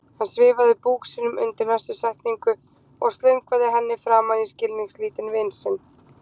Hann svifaði búk sínum undir næstu setningu og slöngvaði henni framan í skilningslítinn vin sinn